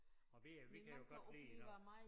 Og vi øh vi kan jo godt lide når